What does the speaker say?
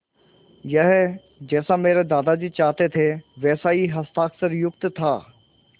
यह जैसा मेरे दादाजी चाहते थे वैसा ही हस्ताक्षरयुक्त था